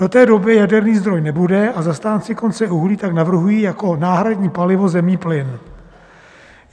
Do té doby jaderný zdroj nebude a zastánci konce uhlí tak navrhují jako náhradní palivo zemní plyn.